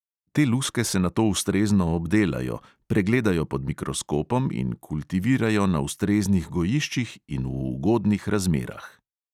Te luske se nato ustrezno obdelajo, pregledajo pod mikroskopom in kultivirajo na ustreznih gojiščih in v ugodnih razmerah.